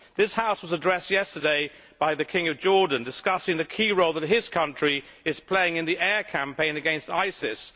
This House was addressed yesterday by the King of Jordan discussing the key role that his country is playing in the air campaign against ISIS.